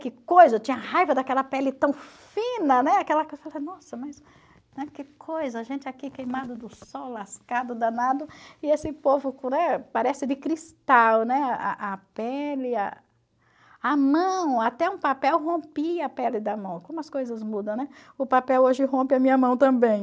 que coisa, eu tinha raiva daquela pele tão fina, né, mas, né, que coisa, a gente aqui queimado do sol, lascado, danado, e esse povo parece de cristal, né, a a pele, a a mão, até um papel rompia a pele da mão, como as coisas mudam, né, o papel hoje rompe a minha mão também.